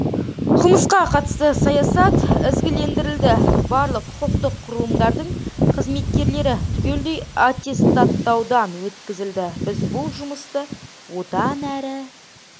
қылмысқа қатысты саясат ізгілендірілді барлық құқықтық құрылымдардың қызметкерлері түгелдей аттестаттаудан өткізілді біз бұл жұмысты одан әрі